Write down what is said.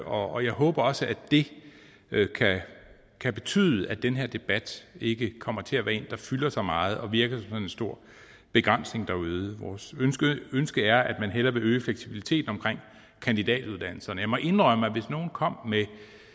og jeg håber også at det kan betyde at den her debat ikke kommer til at være en der fylder så meget og virker en stor begrænsning derude vores ønske er at man hellere skal øge fleksibiliteten omkring kandidatuddannelserne og jeg må indrømme at hvis nogen kom med